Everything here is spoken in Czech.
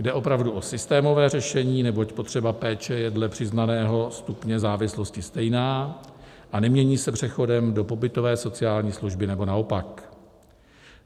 Jde opravdu o systémové řešení, neboť potřeba péče je dle přiznaného stupně závislosti stejná a nemění se přechodem do pobytové sociální služby nebo naopak.